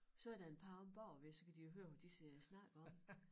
Så der en par omme bagved så kan de høre hvad de sidder og snakker om